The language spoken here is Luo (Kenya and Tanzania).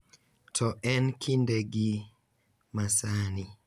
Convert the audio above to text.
to e kindegi ma sani, .